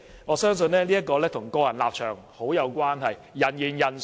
我相信這與個人立場很有關係，人言人殊。